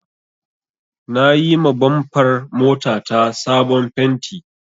Na yima bamfar mota ta sabon fenti